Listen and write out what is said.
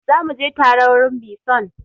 Za mu je tare wurin bison!